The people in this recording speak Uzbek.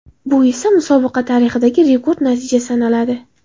Bu esa musobaqa tarixidagi rekord natija sanaladi.